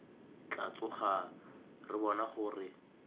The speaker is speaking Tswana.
tla tsoga re bona gore